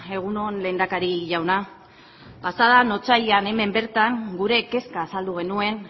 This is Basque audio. egun on lehendakari jauna pasa den otsailean hemen bertan gure kezka azaldu genuen